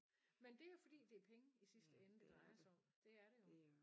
Men det jo fordi det penge i sidste ende det drejer sig om det er det jo